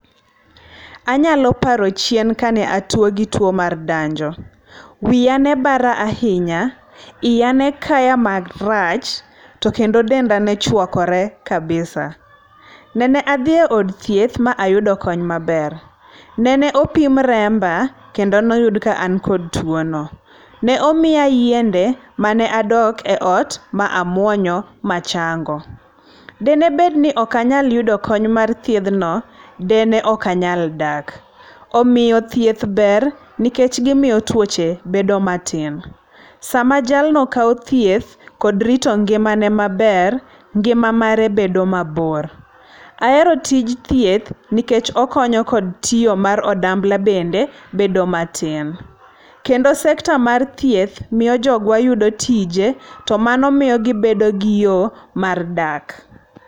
Anyalo paro chien ka ne atwo gi two mar danjo. Wiya ne bara ahinya, iya ne nekaya marach, to kendo denda ne chwakore kabisa. Nende adhiye od thieth, ma ayudo kony maber. Nene opim remba, kendo ne oyud ka an kod tuwo no. Nene omiya yiende mane adok e ot ma amwonyo, ma achango. Dine bed ni ok anyal yudo kony mar thiedhno dine okanyal dak. Omiyo thieth ber, nikech gimiyo twoche bedo matin. Sama jalno kawo thieth kod rito ngimane maber, ngima mare bedo mabor. Ahero tij thieth, nikech okonyo kod tiyo mar odambla bende bedo matin. Kendo sector mar thieth miyo jogwa yudo tije. To mano miyo gibedo gi yo mar dak.